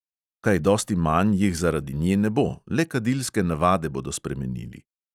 Kaj dosti manj jih zaradi nje ne bo, le kadilske navade bodo spremenili.